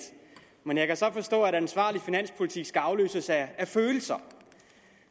men jeg kan så forstå at en ansvarlig finanspolitik skal afløses af følelser